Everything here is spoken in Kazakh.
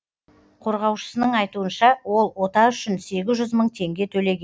қорғаушысының айтуынша ол ота үшін сегіз жүз мың теңге төлеген